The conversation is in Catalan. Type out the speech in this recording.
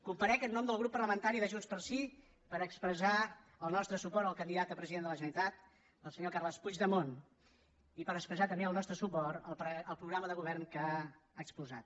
comparec en nom del grup parlamentari de junts pel sí per expressar el nostre suport al candidat a president de la generalitat el senyor carles puigdemont i per expressar també el nostre suport al programa de govern que ha exposat